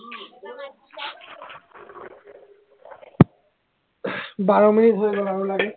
বাৰ minute হৈ গল আৰু লাগে